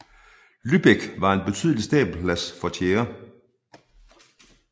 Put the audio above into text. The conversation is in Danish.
Lübeck var en betydelig stabelplads for tjære